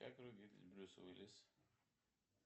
как выглядит брюс уиллис